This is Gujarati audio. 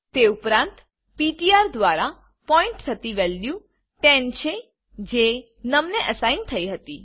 તે ઉપરાંત પીટીઆર દ્વારા પોઈન્ટ થતી વેલ્યુ 10 છે જે નમ ને અસાઇન થઇ હતી